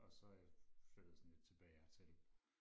og så er jeg flyttet sådan lidt tilbage hertil